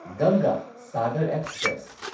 ꯒꯪꯒꯥ ꯁꯥꯒꯔ ꯑꯦꯛꯁꯄ꯭ꯔꯦꯁ